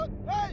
Ateş!